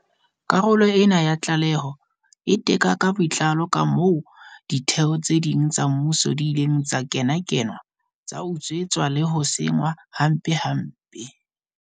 Karolo ena ya tlaleho e teka ka botlalo kamoo ditheo tse ding tsa mmuso di ileng tsa kenakenwa, tsa utswetswa le ho senngwa hampempe.